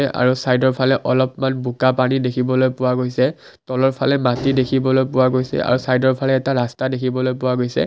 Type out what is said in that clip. আৰু চাইদৰ ফালে অলপমান বোকা পানী দেখিবলৈ পোৱা গৈছে তলৰফালে মাটি দেখিবলৈ পোৱা গৈছে আৰু চাইদৰ ফালে এটা ৰাষ্টা দেখিবলৈ পোৱা গৈছে।